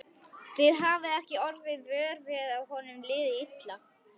Þið hafið ekki orðið vör við að honum liði illa?